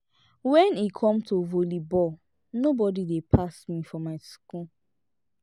wen e come to volley ball nobody dey pass me for my school